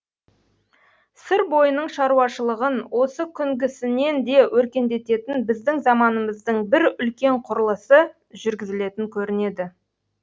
сыр бойының шаруашылығын осы күнгісінен де өркендететін біздің заманымыздың бір үлкен құрылысы жүргізілетін көрінеді